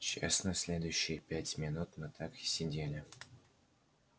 честно следующие пять минут мы так и сидели